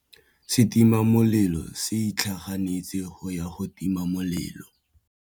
Setima molelô se itlhaganêtse go ya go tima molelô.